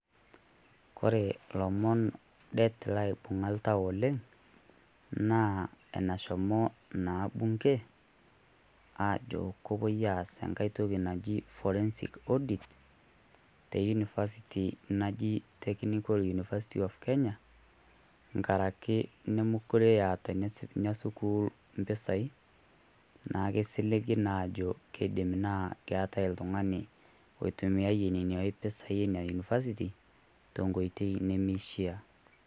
Kore ilomon det laibung'a oltau oleng' naa enashomo Bunge aajo kepuo aas entoki naji Forensic edit te University naji Technical University of Kenya tengaraki nemeekure eeta Ina sukuul impisai naa kisiligi naa aajo keeta oltung'ani oitimi iyie Nena pisai Ina University te Nkoitoi nemeishaa.